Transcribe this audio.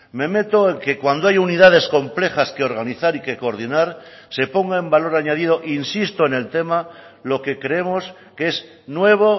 me meto en que cuando hay unidades complejas que organizar y que coordinar se ponga en valor añadido insisto en el tema lo que creemos que es nuevo